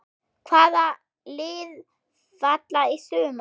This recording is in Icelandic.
Hvaða lið falla í sumar?